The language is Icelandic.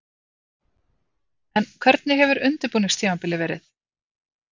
En hvernig hefur undirbúningstímabilið verið?